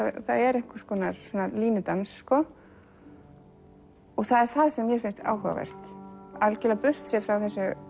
það er einhver línudans og það er það sem mér finnst áhugavert algjörlega burtséð frá